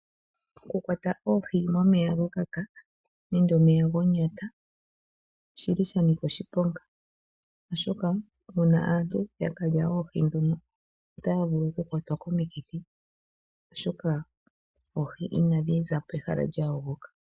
Okukwata oohi momeya gakaka nenge momeya gonyata oshili shanika oshiponga, oshoka uuna aantu yakwata oohi ndhino otaya vulu okukwatwa komikithi , oshoka oohi inadhi za pehala lyayogoka.